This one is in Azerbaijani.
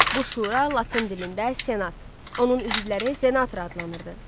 Bu şura Latın dilində Senat, onun üzvləri senator adlanırdı.